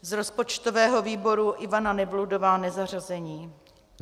Z rozpočtového výboru Ivana Nevludová, nezařazená.